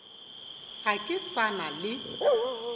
ga ke sa na le